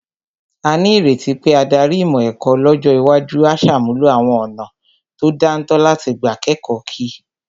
A ní ìrètí pé adarí ìmọ̀ ẹ̀kọ́ lọ́jọ́ iwájú á ṣàmúlò àwọn ọ̀nà tó dáńtọ́ láti gbà kẹ́kọ̀ọ́ kí